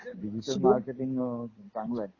Digital marketing अहं चांगलंय.